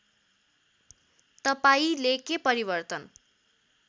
तपाईँंले के परिवर्तन